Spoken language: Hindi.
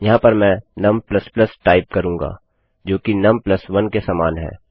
यहाँ पर मैं num टाइप करूँगी जोकि नुम 1 के समान है